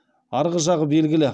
арғы жағы белгілі